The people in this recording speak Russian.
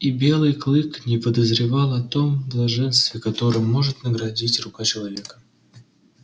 и белый клык не подозревал о том блаженстве которым может наградить рука человека